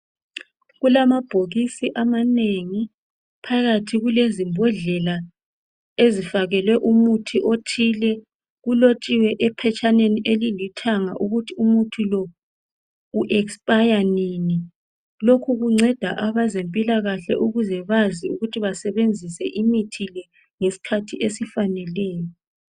Kulamabhokisi amanengi phakathi kule zimbodlela ezifakelwe umuthi othile . Kulotshiwe ephatshaneni elilithanga ukuthi umuthi lo uexpire nini lokhu kunceda abezempilakahle ukuze bazi ukuthi basebenzise imithi le ngesikhathi esifaneleyo